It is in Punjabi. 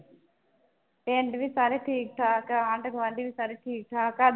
ਪਿੰਡ ਵੀ ਸਾਰੇ ਠੀਕ ਠਾਕ ਆ ਆਂਢ ਗੁਆਂਢੀ ਵੀ ਸਾਰੇ ਠੀਕ ਠਾਕ ਆ।